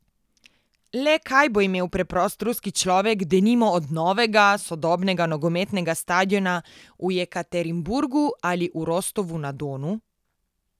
Le kaj bo imel preprost ruski človek, denimo, od novega, sodobnega nogometnega stadiona v Jekaterinburgu ali v Rostovu na Donu?